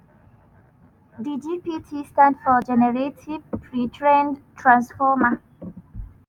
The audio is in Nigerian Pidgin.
di gpt stand for generative pre-trained transformer.